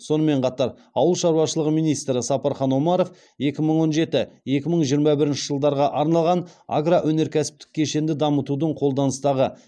сонымен қатар ауыл шаруашылығы министрі сапархан омаров екі мың он жеті екі мың жиырма бірінші жылдарға арналған агроөнеркәсіптік кешенді дамытудың қолданыстағы